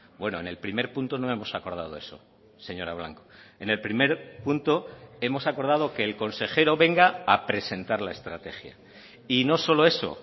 bueno en el primer punto no hemos acordado eso señora blanco en el primer punto hemos acordado que el consejero venga a presentar la estrategia y no solo eso